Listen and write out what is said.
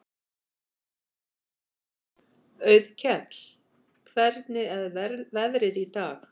Auðkell, hvernig er veðrið í dag?